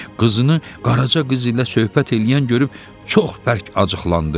Qızını Qaraca qız ilə söhbət eləyən görüb çox bərk acıqlandı.